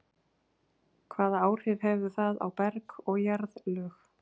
Hvaða áhrif hefur það á berg og jarðlög?